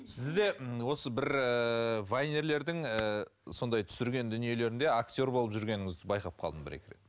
сізді де осы бір ііі вайнерлердің ііі сондай түсірген дүниелерінде актер болып жүргеніңізді байқап қалдым бір екі рет